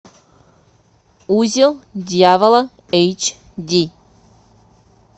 узел дьявола эйч ди